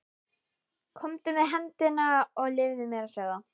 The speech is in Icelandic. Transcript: Komdu með hendina og leyfðu mér að sjá það.